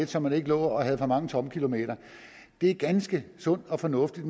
så man ikke lå og havde for mange tomme kilometer det er ganske sundt og fornuftigt